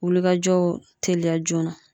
Wulikajɔw teliya joona